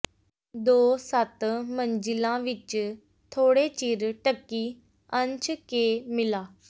ਦੋ ਸੱਤ ਮੰਜ਼ਿਲਾ ਵਿਚ ਥੋੜ੍ਹੇ ਚਿਰ ਢਕੀ ਅੰਸ਼ ਕੇ ਮਿਲਾ